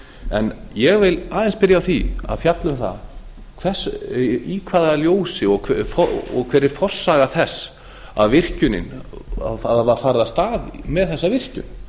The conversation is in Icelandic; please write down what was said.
en ég vil aðeins byrja á því að fjalla um það í hvaða ljósi og hver var forsaga þess að farið var af stað með þessa virkjun